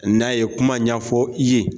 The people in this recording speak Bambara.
N'a ye kuma ɲɛfɔ i ye.